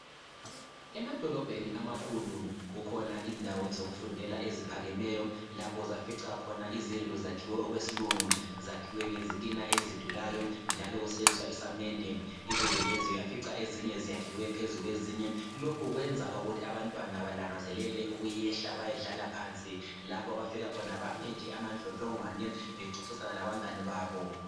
kumadolobheni amakhulu kukhona indawo zokufundela eziphakemeyo lapho ozafica khona izindlu zakhiwe okwesilungu zakhiwe ngezitina ezidulayo njalo kusetshenziswa isamende izindlu uyafica ezinye zakhiwe phezu kwezinye lokhu kwenza ukuthi abantwana balangazelele ukuyehla bayedlala phansi lapha abafika khona bame amadlodlongwani bexoxisana labangani babo